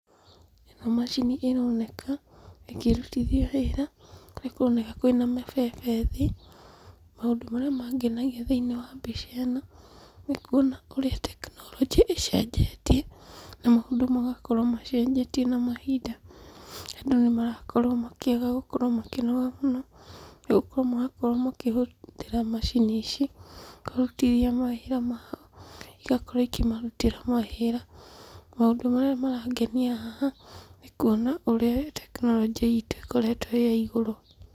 Ĩno macini ĩroneka ĩkĩrutithio wĩra, kũrĩa kũroneka kwĩna mabebe thĩ. Maũndũ marĩa mangenagia thĩinĩ wa mbica ĩno, nĩkuona ũrĩa technology ĩcenjetie, na maũndũ magakorwo macenjetie na mahinda andũ nĩmarakorwo makĩaga gũkorwo makĩnoga mũno, nĩgũkorwo marakorwo makĩhũthĩra macini ici, kũrutithia mawĩra maao, igakorwo ikĩmarutĩra mawĩra. Maũndũ marĩa marangenia haha, nĩkuona ũrĩa technology itũ ĩkoretwo ĩya igũrũ.